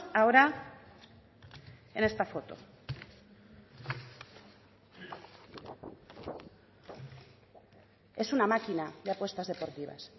ahora en esta foto es una máquina de apuestas deportivas